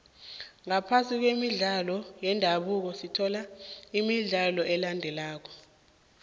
ngaphasi kwemidlalo yendabuko sithola imidlalo elandelako